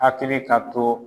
Hakili ka t'o